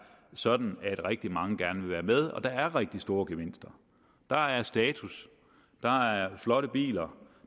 sådan at rigtig mange gerne vil være med og der er rigtig stor gevinster der er status der er flotte biler